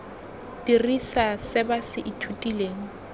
dirisa se ba se ithutileng